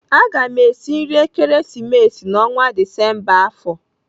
Aga m esi nri Ekeresimesi n'ọnwa Disemba afọ.